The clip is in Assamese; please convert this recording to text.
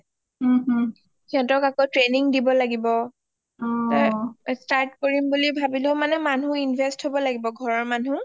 হিহঁতক আকৌ training দিব লাগিব অ start কৰিম বুলি ভাবিলেও মানুহ invest হব লাগিব ঘৰৰ মানুহ